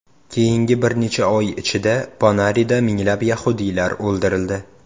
Keyingi bir necha oy ichida Ponarida minglab yahudiylar o‘ldirildi.